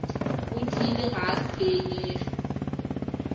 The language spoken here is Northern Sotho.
go tiile ga a tshwenyege